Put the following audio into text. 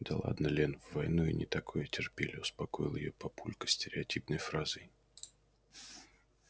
да ладно лен в войну и не такое терпели успокоил её папулька стереотипной фразой